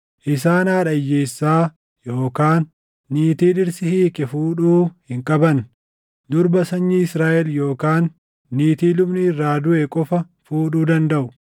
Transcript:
Isaan haadha hiyyeessaa yookaan niitii dhirsi hiike fuudhuu hin qaban; durba sanyii Israaʼel yookaan niitii lubni irraa duʼe qofa fuudhuu dandaʼu.